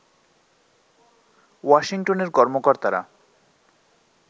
ওয়াশিংটনের কর্মকর্তারা